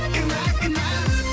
кінә кінә